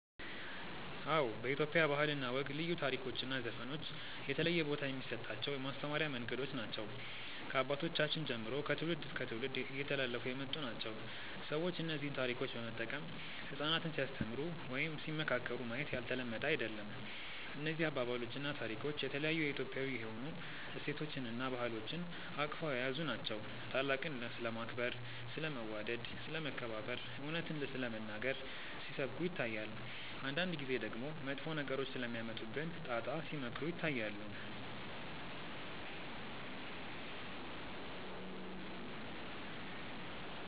አዎ በኢትዮጵያ ባህል እና ወግ ልዩ ታሪኮች እና ዘፈኖች የተለየ ቦታ የሚሰጣቸው የማስተማሪያ መንገዶች ናቸው። ከአባቶቻችን ጀምሮ ከትውልድ እስከ ትውልድ እየተላለፉ የመጡ ናቸው። ሰዎች እነዚህን ታሪኮች በመጠቀም ህጻናትን ሲያስተምሩ ወይም ሲመካከሩ ማየት ያልተለመደ አይደለም። እነዚህ አባባሎች እና ታሪኮች የተለያዩ የኢትዮጵያዊ የሆኑ እሴቶችን እና ባህሎችን አቅፈው የያዙ ናቸው። ታላቅን ስለማክበር፣ ስለ መዋደድ፣ ስለ መከባበር፣ እውነትን ስለመናገር ሲሰብኩ ይታያል። አንዳንድ ጊዜ ደግሞ መጥፎ ነገሮች ስለሚያመጡብን ጣጣ ሲመክሩ ይታያሉ።